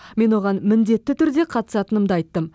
мен оған міндетті түрде қатысатынымды айттым